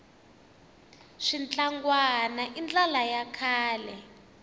switlangwana i ndlala ya kahle